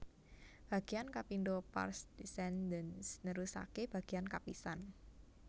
Bagéyan kapindho pars descendens nerusaké bagéyan kapisan